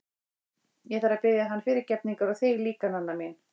Ég þarf að biðja hann fyrirgefningar og þig líka, Nanna mín.